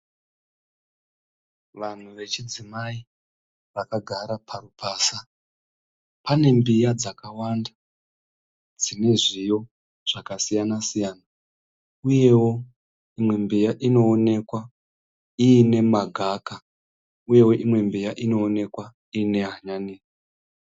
Vanhu vechidzimai vakagara parupasa. Pane mbiya dzakwanda dzine zviyo dzakasiyana siyana uyewo imwe mbiya inoonekwa ine magaka, imwe mbiya inoonekwa ine hanyanisi.